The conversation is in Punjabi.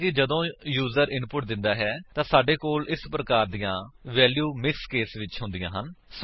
ਹਾਲਾਂਕਿ ਜਦੋਂ ਯੂਜਰ ਇਨਪੁਟ ਦਿੰਦਾ ਹੈ ਤਾਂ ਸਾਡੇ ਕੋਲ ਇਸ ਪ੍ਰਕਾਰ ਤਰਾਂ ਦੀਆਂ ਵੇਲਿਊ ਮਿਕ੍ਸ ਕੇਸ ਵਿਚ ਹੁੰਦੀਆਂ ਹਨ